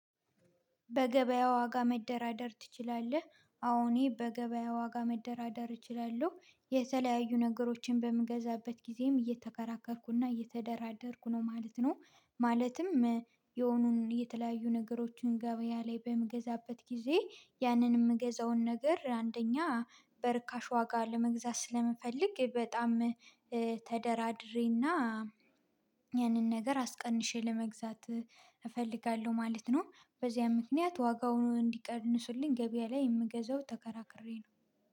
በገበያ ዋጋ መደራደር ትችላለህ? አዎ እኔ በገበያ ዋጋ መደራደር እችላለሁ። የተለያዩ ነገሮችን በምገዛበት ጊዜም እየተከራከርኩና እየተደራደርኩ ነው ማለት ነው። ማለትም የሆኑን የተለያዩ ነገሮችን ገበያ ላይ በምገዛበት ጊዜ ያንን ምገዛውን ነገር አንደኛ በርካሽ ዋጋ ለመግዛት ስለምፈልግ በጣም ተደራድሬና ያንን ነገር አስቀንሼ ለመግዛት እፈልጋለሁ ማለት ነው። በዚያም ምክንያት ዋጋውን እንዲቀንስልኝ ገበያ ላይ የምገዛው ተከራክሬ ነው።